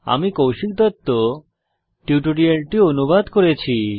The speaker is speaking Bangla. আমি কৌশিক দত্ত এই টিউটোরিয়ালটি অনুবাদ করেছি